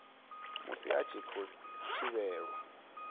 musi a tshi khou thivhelwa